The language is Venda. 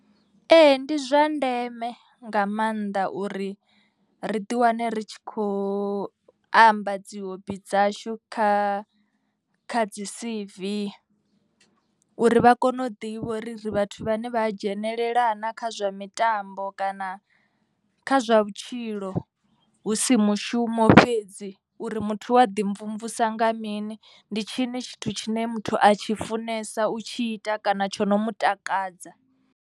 Ee ndi zwa ndeme nga maanḓa uri ri ḓi wane ri tshi kho amba dzi hobi dzashu kha kha dzi C_V. Uri vha kone u ḓivha uri ri vhathu vhane vha dzhenelela na kha zwa mitambo kana kha zwa vhutshilo. Hu si mushumo fhedzi uri muthu wa ḓi mvumvusa nga mini. Ndi tshini tshithu tshine muthu a tshi funesa u tshi ita kana tsho no mu takadza.